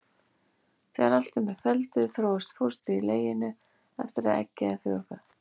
Þegar allt er með felldu þróast fóstrið í leginu eftir að eggið er frjóvgað.